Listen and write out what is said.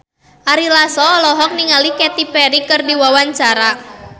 Ari Lasso olohok ningali Katy Perry keur diwawancara